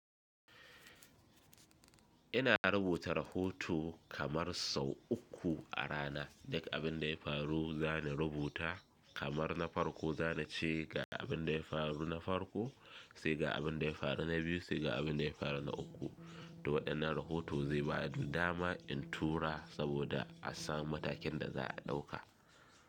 Ina rubuta rahoto kamar sau uku a rana. Duk abin da ya faru, zani rubuta kamar na farko, zani ce ga abin da ya faru na farko, sai ga abin da ya faru na biyu, sai ga abin da ya faru na uku. To waɗannan rahoto zai ba ni dama in tura saboda a san matakin da za a ɗauka.